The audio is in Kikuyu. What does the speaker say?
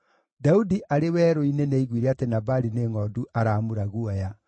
Daudi arĩ werũ-inĩ nĩaiguire atĩ Nabali nĩ ngʼondu aramura guoya.